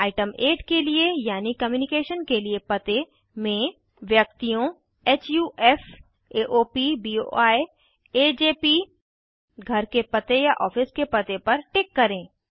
item 8 के लिए यानि कम्युनिकेशन के लिए पते में व्यक्तियोंHUFsAOPBOIAJP घर के पते या ऑफिस के पते पर टिक करें